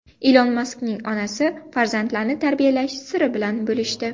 Ilon Maskning onasi farzandlarni tarbiyalash siri bilan bo‘lishdi.